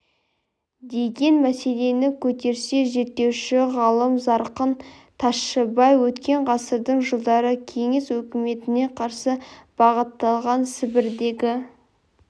деген мәселені көтерсе зерттеуші ғалым зарқын тайшыбай өткен ғасырдың жылдары кеңес өкіметіне қарсы бағытталған сібірдегі